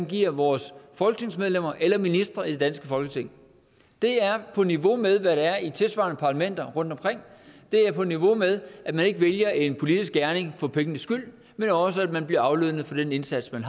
giver vores folketingsmedlemmer eller ministre i det danske folketing det er på niveau med hvad der er i tilsvarende parlamenter rundtomkring det er på niveau med at man ikke vælger en politisk gerning for pengenes skyld men også at man bliver aflønnet for den indsats man